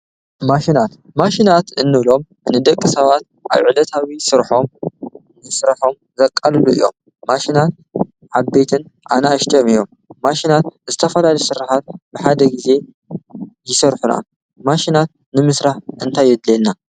ማሽናት ማሽናት እኖሎም ንደቂ ሰባት ኣይዕለታዊ ሥርሖም ንሥራሖም ዘቃልሉ እዮም ማሽናት ሃበትን ኣና ኤሽድዮም እዮም ማሽናት እዝተፋልሊ ሥርኃት ብሓደ ጊዜ ይሠርሑና ማሽናት ንምሥራሕ እንታየድልየልና።